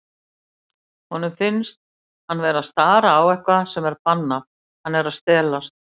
Honum finnst hann vera að stara á eitthvað sem er bannað, hann er að stelast.